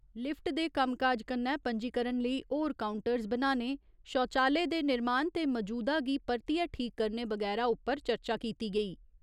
Lift दे कम्मकाज कन्नै पं'जीकरण लेई होर काउंटरस बनाने, शौचालय दे निर्माण ते मजूदा गी परतिए ठीक करने बगैरा उप्पर चर्चा कीती गेई।